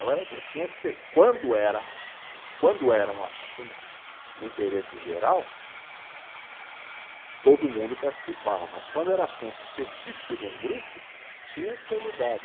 Tinha que ser, quando era, quando era um assunto de interesse geral, todo mundo participava, mas quando era assunto específico de um grupo, tinha que ser mudado.